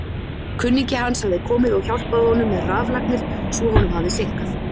Kunningi hans hafði komið og hjálpað honum með raflagnir svo honum hafði seinkað.